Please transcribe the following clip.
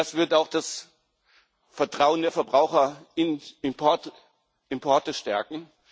Das wird auch das Vertrauen der Verbraucher in Importe stärken.